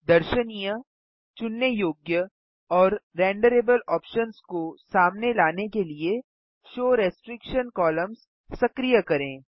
दर्शनीय चुनने योग्य और रेंडरेबल ऑप्शन्स को सामने लाने के लिए शो रिस्ट्रिक्शन कोलम्न्स सक्रिय करें